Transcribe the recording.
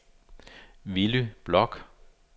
Willy Bloch